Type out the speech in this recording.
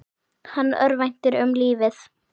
Hann örvænti um lífið.